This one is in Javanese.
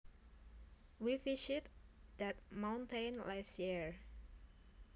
We visited that mountain last year